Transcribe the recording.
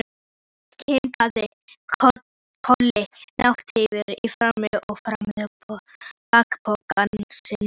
Thomas kinkaði kolli, náhvítur í framan, og faðmaði bakpokann sinn.